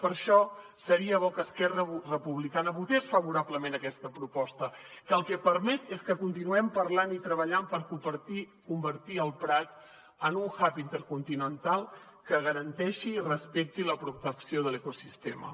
per això seria bo que esquerra republicana votés favorablement aquesta proposta que el que permet és que continuem parlant i treballant per convertir el prat en un hub intercontinental que garanteixi i respecti la protecció de l’ecosistema